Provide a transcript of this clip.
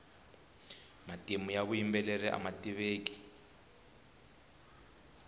matimu ya vuyimbeleri ama tiveki